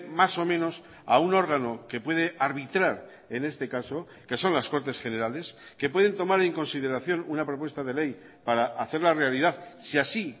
más o menos a un órgano que puede arbitrar en este caso que son las cortes generales que pueden tomar en consideración una propuesta de ley para hacerla realidad si así